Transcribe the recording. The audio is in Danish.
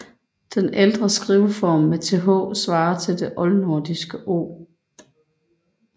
Den ældre skriveform med th svarer til oldnordisk ð